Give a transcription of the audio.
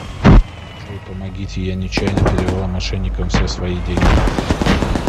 джой помогите я нечаянно перевела мошенникам все свои деньги